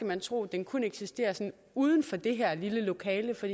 man tro at den kun eksisterer sådan uden for det her lille lokale for